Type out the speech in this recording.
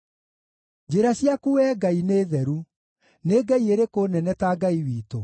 Njĩra ciaku, Wee Ngai, nĩ theru. Nĩ ngai ĩrĩkũ nene ta Ngai witũ?